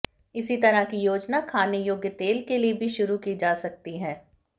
इसी तरह की योजना खाने योग्य तेल के लिए भी शुरू की जा सकती है